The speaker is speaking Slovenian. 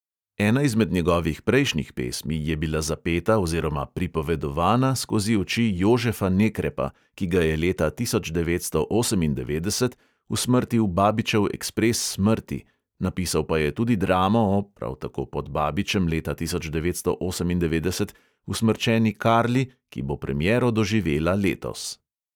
Ena izmed njegovih prejšnjih pesmi je bila zapeta oziroma "pripovedovana" skozi oči jožefa nekrepa, ki ga je leta tisoč devetsto osemindevetdeset usmrtil babičev ekspres smrti, napisal pa je tudi dramo o – prav tako pod babičem leta devetnajststo osemindevetdeset – usmrčeni karli, ki bo premiero doživela letos.